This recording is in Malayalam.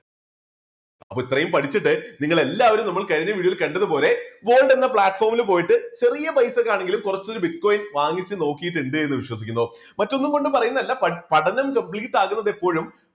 അപ്പോൾ ഇത്രയും പഠിച്ചിട്ട് നിങ്ങളെല്ലാവരും നമ്മൾ കഴിഞ്ഞ video യിൽ കണ്ടതുപോലെ gold എന്ന platform ൽ പോയിട്ട് ചെറിയ പൈസയ്ക്ക് ആണെങ്കിലും കുറച്ച് ഒരു bitcoin വാങ്ങിച്ച് നോക്കിയിട്ട് ഉണ്ട് എന്ന് വിശ്വസിക്കുന്നു. മറ്റൊന്നും കൊണ്ട് പറയുന്നതല്ല പഠനം complete ആകുന്നത് എപ്പോഴും